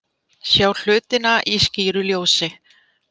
Sjá hlutina í skýru ljósi.